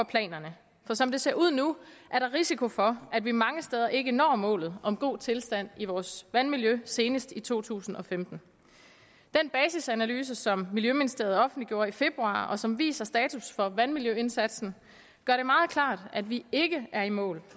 planerne for som det ser ud nu er der risiko for at vi mange steder ikke når målet om god tilstand i vores vandmiljø senest i to tusind og femten den basisanalyse som miljøministeriet offentliggjorde i februar og som viser status for vandmiljøindsatsen gør det meget klart at vi ikke er i mål